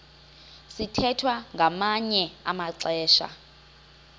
sithwethwa ngamanye amaxesha